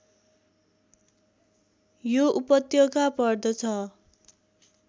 यो उपत्यका पर्दछ